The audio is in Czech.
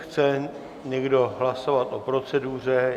Chce někdo hlasovat o proceduře?